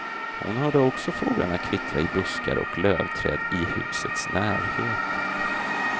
Hon hörde också fåglarna kvittra i buskar och lövträd i husets närhet.